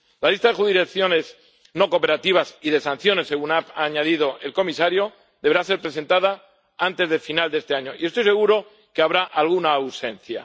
La lista de jurisdicciones no cooperativas y de sanciones —según ha añadido el comisario— deberá presentarse antes de final de este año, y estoy seguro de que habrá alguna ausencia.